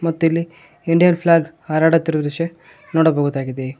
ಮತ್ತಿಲ್ಲಿ Indian flag ಹಾರಡುತ್ತಿರುವ ದೃಶ್ಯ ನೋಡಬಹುದಾಗಿದೆ.